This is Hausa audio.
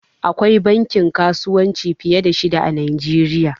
Akwai bankin kasuwanci fiye da shida a najeriya